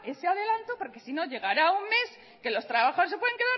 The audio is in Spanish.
ese adelanto porque si no llegará un mes que los trabajadores se pueden